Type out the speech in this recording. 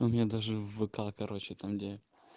у меня даже в вк короче там где